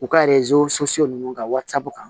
U ka so ninnu ka warisabɔ kan